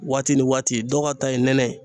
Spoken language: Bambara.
Waati ni waati dɔw ka ta ye nɛnɛ ye